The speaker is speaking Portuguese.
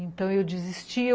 Então, eu desisti.